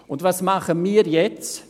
Und was machen jetzt?